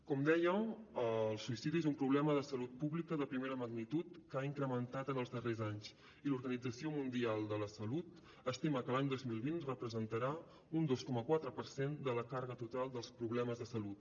com deia el suïcidi és un problema de salut pública de primera magnitud que ha incrementat en els darrers anys i l’organització mundial de la salut estima que l’any dos mil vint representarà un dos coma quatre per cent de la càrrega total dels problemes de salut